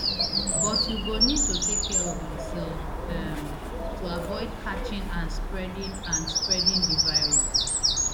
but you go need to take care of yoursef um to avoid catching and spreading and spreading di virus